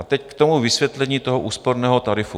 A teď k tomu vysvětlení toho úsporného tarifu.